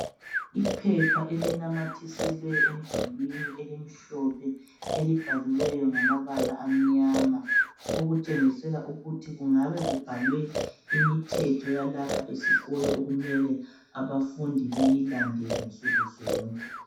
Iphepha elinamathiswe emdulwini elimhlophe elibhaliweyo ngamabala amnyama okutshengisela ukuthi kungabe kubhalwe imithetho yalapha esikolo okumele abafundi beyilandele nsukuzonke.